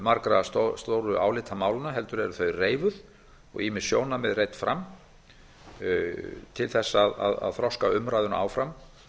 margra stóru álitamálanna heldur eru þau reifuð og ýmis sjónarmið reidd fram til þess að þroska umræðuna áfram